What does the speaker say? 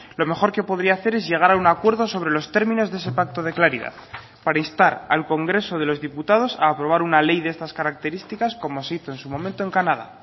lo mejor que podría hacer es llegar a un acuerdo sobre los términos de ese pacto de claridad para instar al congreso de los diputados a aprobar una ley de estas características como se hizo en su momento en canadá